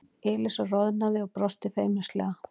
Elísa roðnaði og brosti feimnislega.